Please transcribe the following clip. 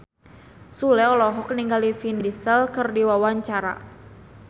Sule olohok ningali Vin Diesel keur diwawancara